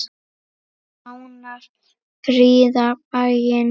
Fánar prýða bæinn.